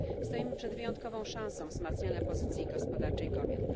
Stoimy przed wyjątkową szansą wzmacniania pozycji gospodarczej kobiet.